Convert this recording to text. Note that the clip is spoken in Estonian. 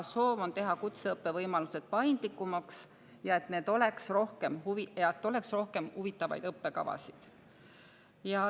Soov on teha kutseõppevõimalused paindlikumaks ja rohkem huvitavaid õppekavasid.